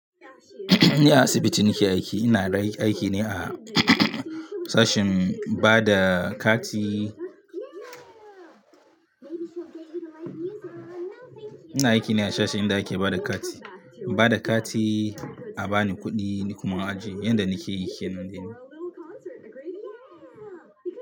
Ni a asibiti nake aiki. Ina aiki ne a sashin bada kati. Ina aiki ne a sashe inda ake bada kati. Bada kati, a bani kuɗi ni kuma in aje. Yanda nake yi kenan dai ni.